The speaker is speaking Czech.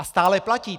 A stále platí.